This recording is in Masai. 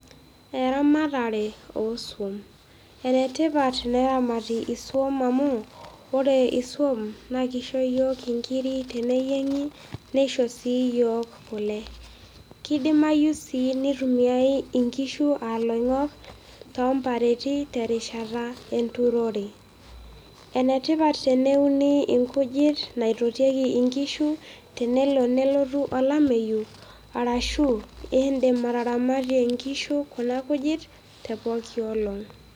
eramatare oo sum, enatipat neramati isum amuu ore isum naa keisho iyiook inkiri tenenyiengi, neisho sii iyiook kule. kedimayu sii neitumiyae inkishu aa ilong'ok too mbareti terishata enturore, enetipat teneuni inkujiti naitotieki inkishu tenelo nelotu olameyu, arashu iindim ataramatie inkishu kuna kujit te pooki olong'.